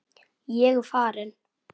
Ég er farinn.